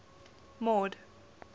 mord